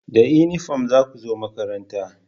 Da inifam za ku zo makaranta!